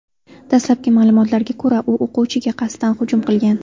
Dastlabki ma’lumotlarga ko‘ra, u o‘quvchiga qasddan hujum qilgan.